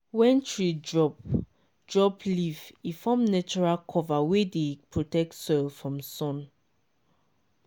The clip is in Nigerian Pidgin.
when tree drop drop leaf e form natural cover wey dey protect soil from sun.